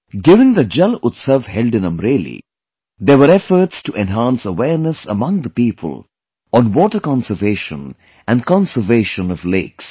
During the 'JalUtsav' held in Amreli, there were efforts to enhance awareness among the people on 'water conservation' and conservation of lakes